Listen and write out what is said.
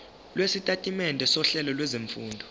lwesitatimende sohlelo lwezifundo